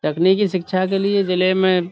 تکنیکی شیکچھا کے لیے جیلی میں۔.